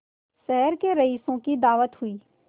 शहर के रईसों की दावत हुई